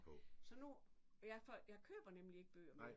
Så nu jeg får jeg køber nemlig ikke bøger mere